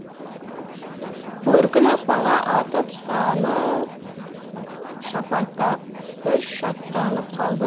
бөркін аспанға атып саны шапаттап бір шаттанып қалды